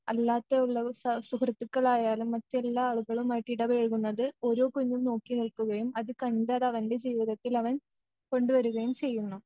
അല്ലാത്ത ഉള്ളത് സ സുഹൃത്തുക്കളായാലും മറ്റെല്ലാ ആളുകളുമായിട്ടിടപഴകുന്നത്‌ ഓരോ കുഞ്ഞും നോക്കി നിൽക്കുകയും അത് കണ്ട് അതവൻ്റെ ജീവിതത്തിലവൻ കൊണ്ടുവരുകയും ചെയ്യുന്നു.